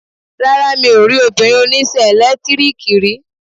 Rárá, mi ò rí obìnrin oníṣẹ́ ẹ̀lẹ́tíríkì rí.